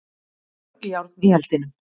Mörg járn í eldinum